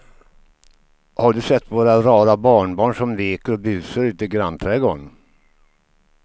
Har du sett våra rara barnbarn som leker och busar ute i grannträdgården!